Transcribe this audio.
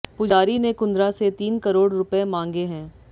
पुजारी ने कुंद्रा से तीन करोड़ रुपए मांगे हैं